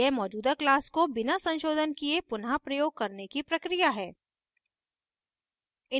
यह मौजूदा class को बिना संशोधन किये पुनः प्रयोग करने की प्रक्रिया है